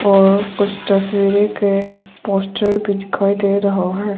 और कुछ तस्वीरें के पोस्टर दिखाई दे रहा है।